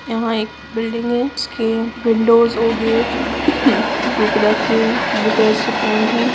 यहाँ एक बिल्डिंग है जिसके विंडोस और गेट ब्लू कलर से पेंट है।